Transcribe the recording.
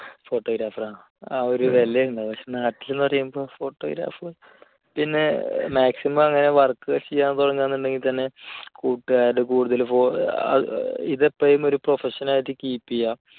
photographer ആ ഒരു വില ഉണ്ടാകും. പക്ഷെ നാട്ടിൽ എന്നു പറയുമ്പോൾ photographer ഓ പിന്നെ maximum എ അങ്ങനെ work ചെയ്യാൻ തുടങ്ങുകയാണെങ്കിൽത്തന്നെ വീട്ടുകാര് കൂടുതൽ ഇതൊക്കെ ഇത് ഇപ്പോഴും ഒരു profession ആയിട്ട് keep ചെയ്യുക